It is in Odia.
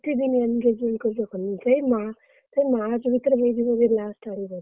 ଏତେ ଦିନ engagement କରିକି ରଖନ୍ତିନି ସେଇ ମା ସେଇ March ଭିତରେ ହେଇଯିବ ବୋଧେ last ଆଡକୁ।